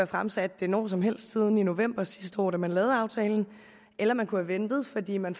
fremsat det når som helst siden november sidste år da man lavede aftalen eller man kunne have ventet fordi man